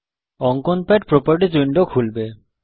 অঙ্কন pad properties window খুলবে